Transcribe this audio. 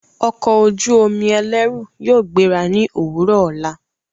Ọko ojú omi ẹlẹru yóò gbera ni owurọ ola